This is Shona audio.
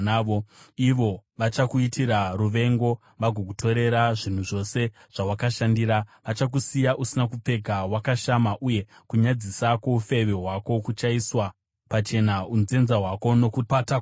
Ivo vachakuitira ruvengo vagokutorera zvinhu zvose zvawakashandira. Vachakusiya usina kupfeka wakashama, uye kunyadzisa kwoufeve hwako kuchaiswa pachena. Unzenza hwako nokupata kwako